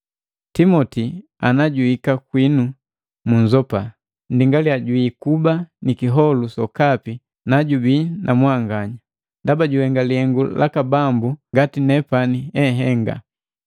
Timoti ana juhika kwinu munzopa. Nndingaliya jwiikuba ni kiholu sokapi najubi na mwanganya, ndaba juhenga lihengu laka Bambu, ngati nepani ehenga.